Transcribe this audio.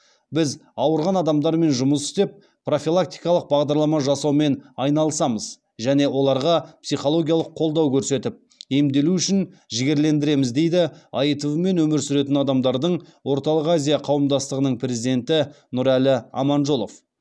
біз ауырған адамдармен жұмыс істеп профилактикалық бағдарлама жасаумен айналысамыз және оларға психологиялық қолдау көрсетіп емделу үшін жігерлендіреміз дейді аитв мен өмір сүретін адамдардың орталық азия қауымдастығының президенті нұрәлі аманжолов